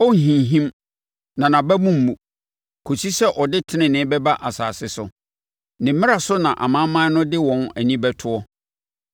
ɔrenhinhim na nʼabamu remmu kɔsi sɛ ɔde tenenee bɛba asase so. Ne mmara so na amanaman no de wɔn ani bɛtoɔ.”